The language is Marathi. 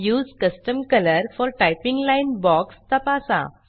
use custom colour for typing line box तपासा